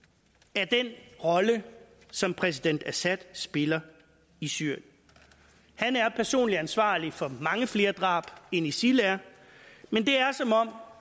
af den rolle som præsident assad spiller i syrien han er personligt ansvarlig for mange flere drab end isil er men det er som om